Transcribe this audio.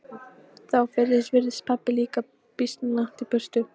Þá fyrst virtist pabbi líka býsna langt í burtu.